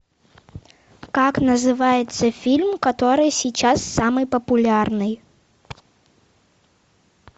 как называется фильм который сейчас самый популярный